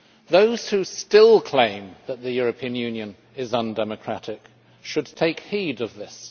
Those who still claim that the European Union is undemocratic should take heed of this.